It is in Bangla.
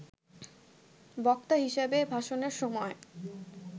বক্তা হিসেবে ভাষনের সময়